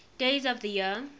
days of the year